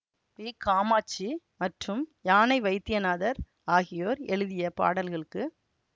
B Kamakshi மற்றும் யானை வைத்தியநாதர் ஆகியோர் எழுதிய பாடல்களுக்கு